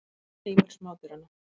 Heimur smádýranna.